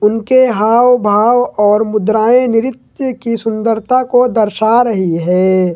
उनके हाव भाव और मुद्राएं नृत्य की सुंदरता को दर्शा रही है।